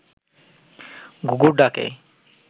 ঘুঘুর ডাকে